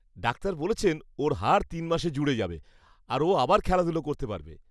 Doctor বলেছেন ওর হাড় তিন মাসে জুড়ে যাবে আর ও আবার খেলাধুলো করতে পারবে।